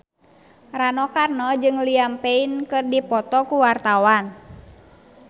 Rano Karno jeung Liam Payne keur dipoto ku wartawan